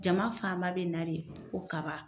Jama fan ba bɛ na de ko kaba.